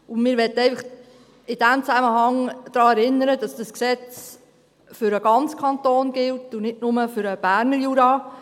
In diesem Zusammenhang möchten wir einfach daran erinnern, dass dieses Gesetz für den ganzen Kanton gilt und nicht nur für den Berner Jura.